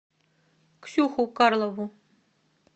ксюху карлову